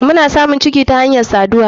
Mna samun ciki ta hanyar sadarwa.